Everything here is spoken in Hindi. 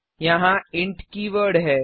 यहाँ इंट कीवर्ड है